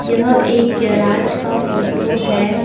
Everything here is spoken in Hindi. यह एक गैराज का फोटो है।